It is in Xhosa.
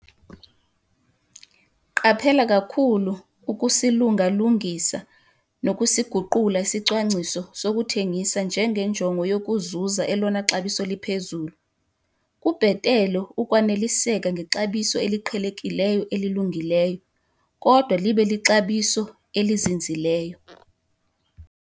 Qaphela kakhulu ukusilunga-lungisa nokusiguqula isicwangciso sokuthengisa ngenjongo yokuzuza elona xabiso liphezulu. Kubhetele ukwaneliseka ngexabiso eliqhelekileyo elilungileyo, kodwa libe lixabiso elizinzileyo.